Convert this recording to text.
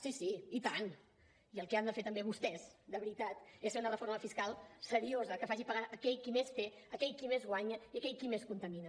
sí sí i tant i el que han de fer també vostès de veritat és fer una reforma fiscal seriosa que faci pagar aquell qui més té aquell qui més guanya i aquell qui més contamina